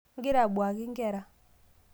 ingira abuaki inkera